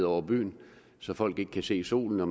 over byen så folk ikke kan se solen og